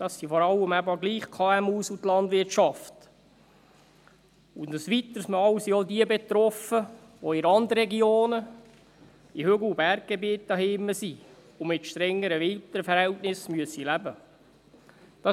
Das betrifft vor allem eben doch die KMU und die Landwirtschaft, und ein weiteres Mal sind auch jene betroffen, die in Randregionen, in Hügel- und Berggebieten zu Hause sind und mit strengeren Verhältnissen im Winter leben müssen.